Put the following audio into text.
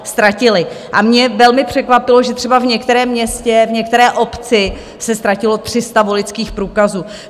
A mě velmi překvapilo, že třeba v některém městě, v některé obci se ztratilo 300 voličských průkazů.